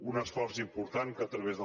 un esforç important que a través del